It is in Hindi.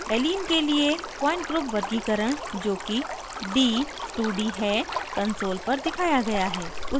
allene के लिए point group वर्गीकरण जोकि d2d है console पर दिखाया गया है